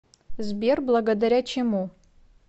сбер благодаря чему